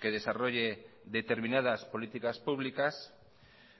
que desarrolle determinadas políticas públicas